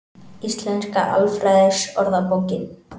Íslenska alfræðiorðabókin.